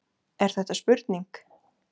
Er þetta spurning?